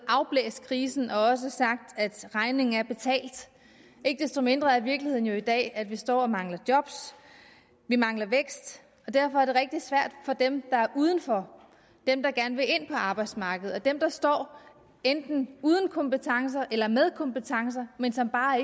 afblæst krisen og også sagt at regningen er betalt ikke desto mindre er virkeligheden jo i dag at vi står og mangler job vi mangler vækst og derfor er det rigtig svært for dem der udenfor dem der gerne vil ind på arbejdsmarkedet for dem der står enten uden kompetencer eller med kompetencer men som bare